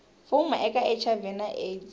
fuma eka hiv na aids